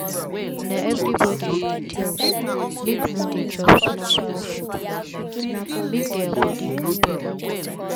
na everybody we dey tell say make no dey chop small small food for nightmake their body kampe all the time.